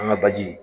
An ka baji